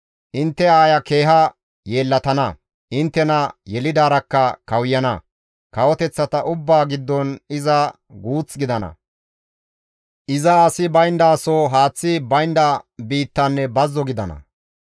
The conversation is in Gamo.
intte aaya keeha yeellatana; inttena yelidaarakka kawuyana; kawoteththata ubbaa giddon iza guuth gidana; iza asi bayndaso, haaththi baynda biittanne bazzo gidana.